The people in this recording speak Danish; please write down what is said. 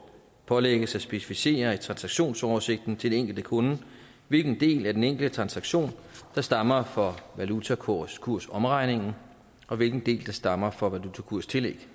pålægges at specificere i transaktionsoversigten til den enkelte kunde hvilken del af den enkelte transaktion der stammer fra valutakursomregning og hvilken del der stammer fra valutakurstillæg